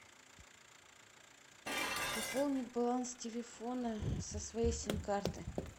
пополнить баланс телефона со своей сим карты